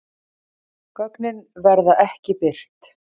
Gögnin verða ekki birt